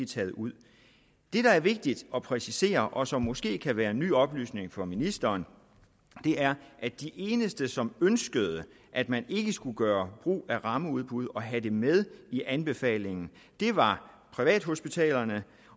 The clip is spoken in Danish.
taget ud det der er vigtigt at præcisere og som måske kan være en ny oplysning for ministeren er at de eneste som ønskede at man ikke skulle gøre brug af rammeudbud og have det med i anbefalingen var privathospitalerne